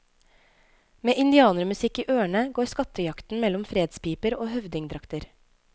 Med indianermusikk i ørene går skattejakten mellom fredspiper og høvdingdrakter.